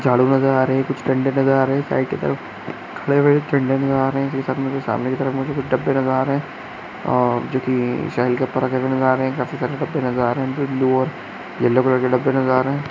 झाड़ू नजर आ रहे है कुछ डंडे नजर आ रहे साइड के तरफ खड़े हुए डंडे में आ रहे है जो सामने में साथ में कुछ डब्बे नजर आ रहे है और जोकि ब्लू और येलो कलर के डब्बे नजर आ रहे है।